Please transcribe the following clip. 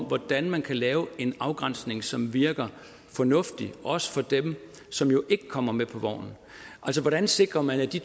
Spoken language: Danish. hvordan man kan lave en afgrænsning som virker fornuftig også for dem som jo ikke kommer med på vognen altså hvordan sikrer man de